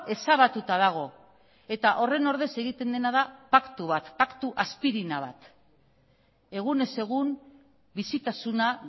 ezabatuta dago eta horren ordez egiten dena da paktu bat paktu aspirina bat egunez egun bizitasuna